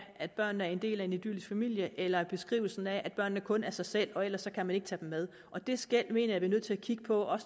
at børnene er en del af en idyllisk familie eller beskrivelsen af at børnene kun er sig selv og ellers kan man ikke tage dem med det skel mener er nødt til at kigge på